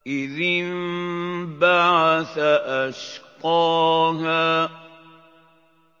إِذِ انبَعَثَ أَشْقَاهَا